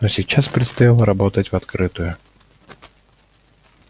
но сейчас предстояло работать в открытую